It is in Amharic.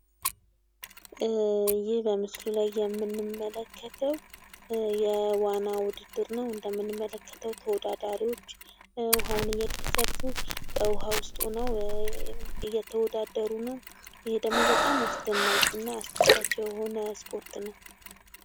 ይህ በምስሉ ላይ የምንመለከተው የዋና ውድድር ነው እንደምንመለከተው ተወዳዳሪዎች ውሃውን እየቀዘፉ በውሃ ውስጥ ሁነው እየተወዳደሩ ነው ይህ ደግሞ በጣም አስደናቂ እና አስደሳች የሆነ ስፖርት ነው ።